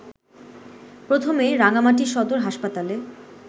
প্রথমে রাঙামাটি সদর হাসপাতালে